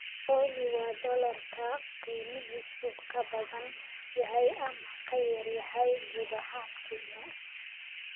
Olly waa dollarka qiimihiisu ka badan yahay ama ka yar yahay gudaha Kenya